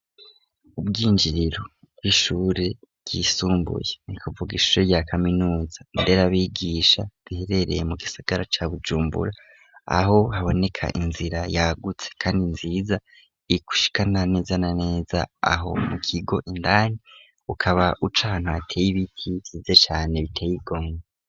Ubwinjiriro bw'ishure ryisumbuye ni kuvuga ishure rya kaminuza nder'abigisha riherereye mu gisagara ca Bujumbura; aho haboneka inzira yagutse kandi nziza igushikana neza na neza aho mu kigo indani ukaba uca ahantu hateye ibiti vyiza cane biteye igomwe.